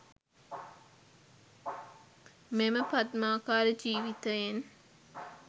මෙම පද්මාකාර ජීවිතයෙන්